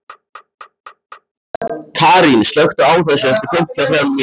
Karín, slökktu á þessu eftir fimmtíu og þrjár mínútur.